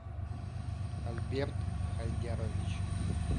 альберт хайдярович